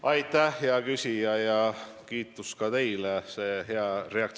Aitäh, hea küsija, ja kiitus ka teile!